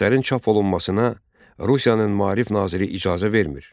Əsərin çap olunmasına Rusiyanın maarif naziri icazə vermir.